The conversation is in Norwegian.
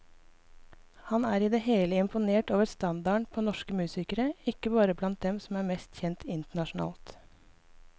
Han er i det hele imponert over standarden på norsk musikere, ikke bare blant dem som er mest kjent internasjonalt.